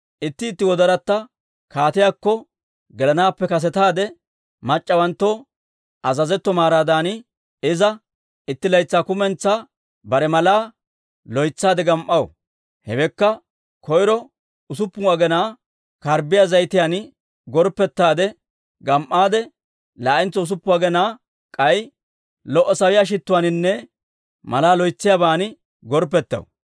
Itti itti gellayatta kaatiyaakko gelanaappe kasetaade mac'c'awanttoo azazetto maaraadan, Iza itti laytsaa kumentsaa bare malaa loytsaade gam"aw; hewekka, koyro usuppun aginaa karbbiyaa zayitiyaan gorppettaadde gam"aade, laa'entso usuppun aginaa k'ay, lo"o sawiyaa shittuwaaninne malaa loytsiyaaban gorppettaw.